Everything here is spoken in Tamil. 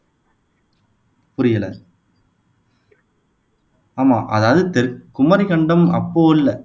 புரியல ஆமா அதாவது தெற் குமரிக்கண்டம் அப்போ இல்ல